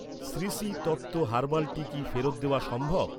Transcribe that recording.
Shri Shri Tattva herbal tea কি ফেরত দেওয়া সম্ভব?